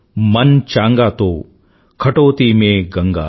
मन चंगा तो कठौती में गंगा